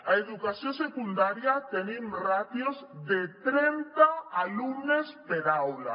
a educació secundària tenim ràtios de trenta alumnes per aula